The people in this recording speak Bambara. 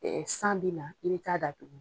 Ɛɛ san bina i be t'a da tugu